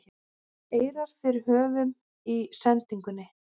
eirar fyrir höfum í sendingunni